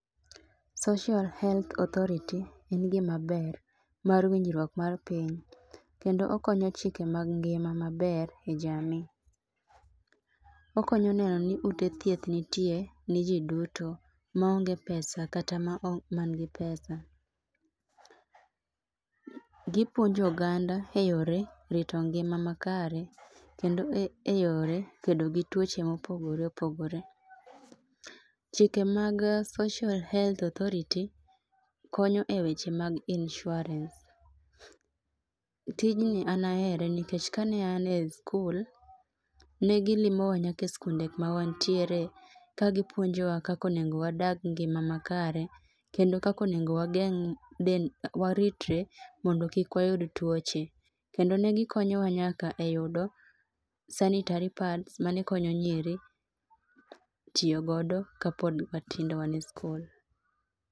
Social Health Authority en gima ber mar winjruok mar piny kendo okonyo chike mag ngima maber e jamii. Okonyo neno ni ute thieth nitie ne jii duto maonge pesa kata manigi pesa. Gipuonjo oganda e yore rito ngima makare kendo e yore kedo gi tuoche ma opogore opogore. Chike mag Social Health Authority konyo e weche mag insurance. Tijni an ahere nikech kane an e skul, ne gilimowa nyaka e skunde ma wantiere ka gipuonowa kaka onego wadag ngima makare kendo kaka onego wageng', waritre mondo kik wayud tuoche. Kendo ne gikonyowa nyaka e yudo sanitary pads mane konyo nyiri tiyo godo kane pod watindo wan e skul